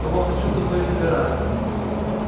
кого хочу того и набираю